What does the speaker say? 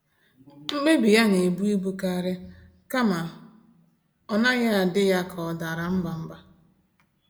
Mkpebi ya na-ebu ibu karịa, kama ọ n'aghi adị ya ka ọ dara mbà mbà